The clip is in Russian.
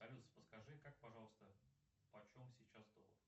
салют подскажи как пожалуйста почем сейчас доллар